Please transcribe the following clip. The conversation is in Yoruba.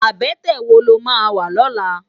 Abètè wó ló má wá lòlá?